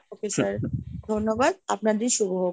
okay sir ধন্যবাদ আপনার দিন শুভ হোক।